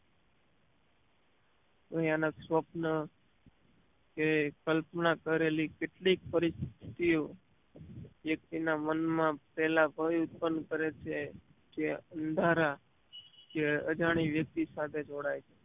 ભયાનક સ્વપન કે કલ્પના કરેલી કેટલીક પરીસ્થીતીયો એ તેના મન માં પહેલા ભય ઉત્પન કરે છે જે અંધારા કે અજાણ્યુ વ્યક્તિ સાથે જોડાય